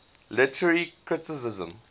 literary criticism